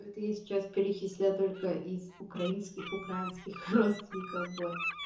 ну это я сейчас перечислю только из украинских украинских родственников вот